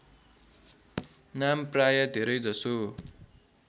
नाम प्राय धेरैजसो